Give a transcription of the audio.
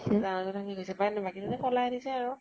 ডাঙৰ জন থাকি গৈছে । বাকী কেইজনে পলাই আনিছে আৰু ।